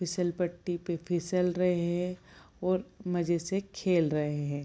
फिसल पट्टी पे फिसल रहे हैं और मज़े से खेल रहे हैं |